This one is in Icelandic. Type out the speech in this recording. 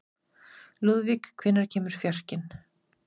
Lúðvík, hvenær kemur fjarkinn?